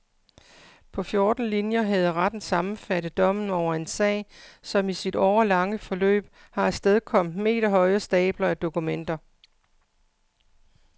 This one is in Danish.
På fjorten linjer havde retten sammenfattet dommen over en sag, som i sit årelange forløb har afstedkommet meterhøje stabler af dokumenter.